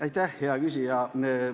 Aitäh, hea küsija!